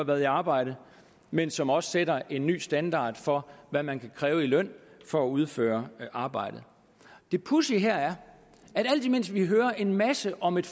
været i arbejde men som også sætter en ny standard for hvad man kan kræve i løn for at udføre arbejdet det pudsige her er at alt imens vi hører en masse om et